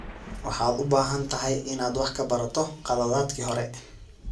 Waxaad u baahan tahay inaad wax ka barato khaladaadkii hore.